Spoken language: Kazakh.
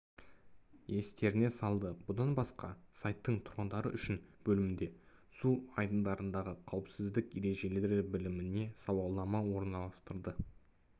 естеріне салды бұдан басқа сайттың тұрғындар үшін бөлімінде су айдындардағы қауіпсіздік ережелері біліміне сауалмана орналастырылды